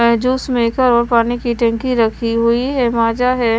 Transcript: Juice maker और पानी की टंकी रखी हुई है माजा है।